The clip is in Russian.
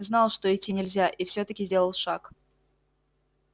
знал что идти нельзя и все таки сделал шаг